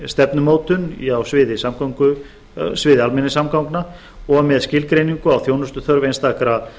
stefnumótun á sviði almenningssamgangna og með skilgreiningu á þjónustuþörf einstakra